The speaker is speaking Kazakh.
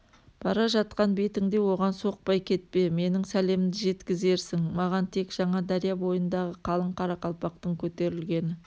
бара жатқан бетіңде оған соқпай кетпе менің сәлемімді жеткізерсің маған тек жаңадария бойындағы қалың қарақалпақтың көтерілгені